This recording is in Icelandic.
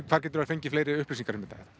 hvar getur það fundið fleiri upplýsingar